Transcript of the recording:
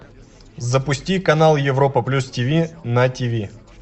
запусти канал европа плюс тиви на тиви